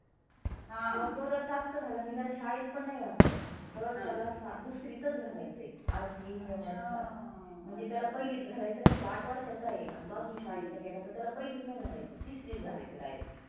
मग तो सात चा झाला आन मी त्याला शाळेत पण नाही घातलं, तर त्याला सा दुसरीतच घालायच आहे. RTE नियमा नुसार. म्हणजे त्याला पहिलीत घालायच नाही, तो आठ वर्षाचा आहे. तो अजुन शाळेत नाही गेला तर त्याला पहिलीत नाही घालायच, तिसरीत घालायच direct